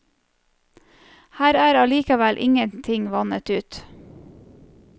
Her er allikevel ingenting vannet ut.